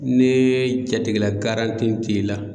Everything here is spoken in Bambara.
Ne jatigɛla t'i la